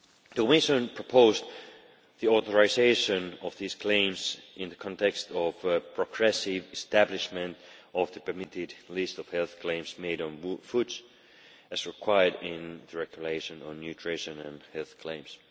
The Commission proposed the authorisation of these claims in the context of progressive establishment of the permitted list of health claims made on foods as required in the regulation on nutrition and health claims.